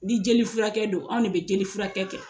Ni jelifurakɛk don, anw de bɛ jelifurakɛ kɛ.